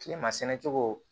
Kilema sɛnɛ cogo